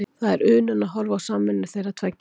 Það er unun að horfa á samvinnu þeirra tveggja.